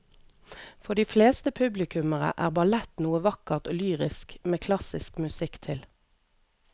For de fleste publikummere er ballett noe vakkert og lyrisk med klassisk musikk til.